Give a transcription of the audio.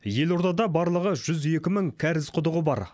елордада барлығы жүз екі мың кәріз құдығы бар